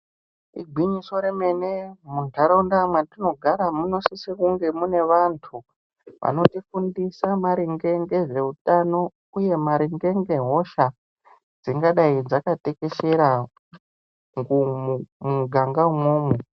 Igwinyiso remene mundaraunda matinogara munosisa kunge mune vantu vanotifundisa maringe ngezveutano uye maringe ngehosha dzingadai dzakatekeshera muganga umwomwo.